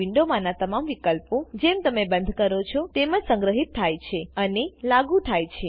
આ વિન્ડોમાંના તમામ વિકલ્પો જેમ તમે બંદ કરો છો તેમ જ સંગ્રહિત થાય છેઅને લાગુ થાય છે